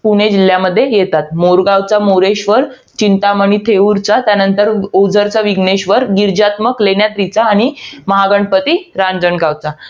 पुणे जिल्ह्यामध्ये येतात. मोरगावचा मोरेश्वर, चिंतामणी थेऊरचा. त्यानंतर, ओझरचा विघ्नेश्वर गिरिजात्मक लेण्याद्रीचा आणि महागणपती रांजणगावचा.